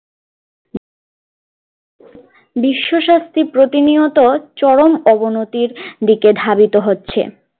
বিশ্বসস্তি প্রতিনিয়ত চরম অবনতির দিকে ধাবিত হচ্ছে